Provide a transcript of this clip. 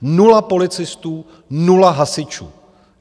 Nula policistů, nula hasičů.